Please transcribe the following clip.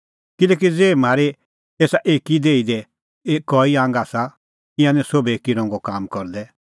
किल्हैकि ज़ेही म्हारी एसा एकी देही दी कई आंग आसा ईंयां निं सोभै एकी रंगो काम करदै